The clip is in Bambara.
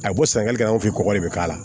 A bɛ bɔ sɛnɛgali fɛ kɔgɔ de bɛ k'a la